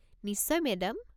নিশ্চয় মেডাম।